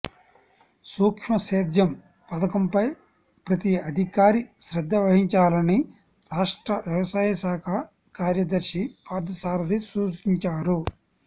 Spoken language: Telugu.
సూక్ష్మసేద్యం పథకంపై ప్రతి అధికారి శ్రద్ధ వహించాలని రాష్ట్ర వ్యవసాయ శాఖ కార్యదర్శి పార్థసారధి సూచించారు